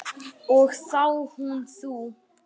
Og þá hún þú.